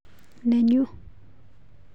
Nenyuu.